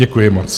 Děkuji moc.